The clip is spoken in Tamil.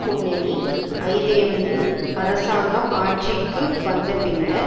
முன்னணி ஐதேமு அரசாங்கம் ஆட்சிக்கு வந்த பின்னர்